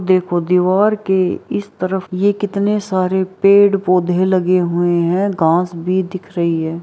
देखो दीवार के इस तरफ ये कितने सारे पेड़-पौधे लगे हुए है घास भी दिख रही है।